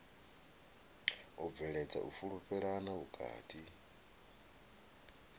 u bveledza u fhulufhelana vhukati